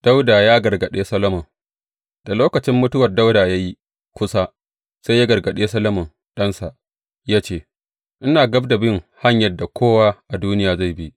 Dawuda ya gargaɗe Solomon Da lokacin mutuwar Dawuda ya yi kusa, sai ya gargaɗe Solomon ɗansa, ya ce, Ina gab da bin hanyar da kowa a duniya zai bi.